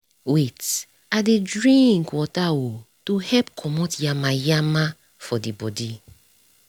wait - i dey drink water oh to help comot yamayama for the body.